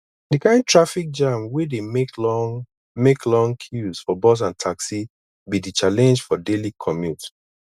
di kain traffic jam wey dey make long make long queues for bus and taxi be di challenge for daily commute